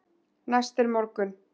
Næst er morgunn.